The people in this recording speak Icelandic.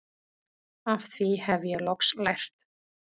Af því hef ég loks lært